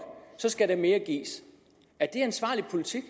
så skal der mere gives er det ansvarlig politik